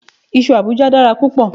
Iṣu Àbújá dára púpọ̀